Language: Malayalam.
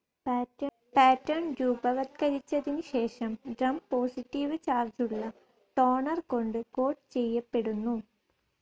പാറ്റർൻ രൂപവത്കരിച്ചതിന് ശേഷം ഡ്രം പോസിറ്റീവ്‌ ചാർജ്ജുള്ള ടോണർ കൊണ്ട് കോട്ട്‌ ചെയ്യപ്പെടുന്നു.